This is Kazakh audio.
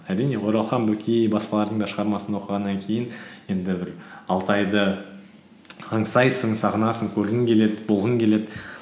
әрине оралхан бөкей басқалардың да шығармасын оқығаннан кейін енді бір алтайды аңсайсың сағынасың көргің келеді болғың келеді